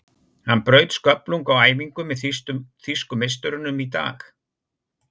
Hann braut sköflung á æfingu með þýsku meisturunum í dag.